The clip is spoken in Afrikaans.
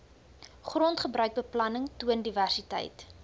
grondgebruikbeplanning toon diversiteit